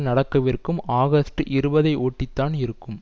நடக்கவிருக்கும் ஆகஸ்ட் இருபது ஐ ஒட்டி தான் இருக்கும்